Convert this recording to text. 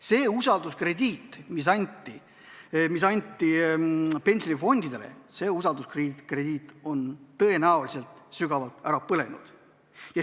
See usalduskrediit, mis anti pensionifondidele, on tõenäoliselt sügavalt ära põlenud.